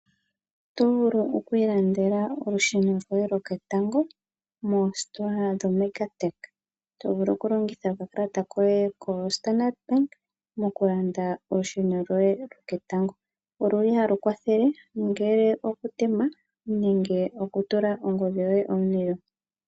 Oto vulu okwilandela olusheno lwoye lwoketango moositola dho mega tech, tovulu okulongitha okakalata koye kostandard bank mokulanda olusheno lwoye lwoketango, oluli halu kwathele okutema nenge okutula ongodhi yoye omulilo.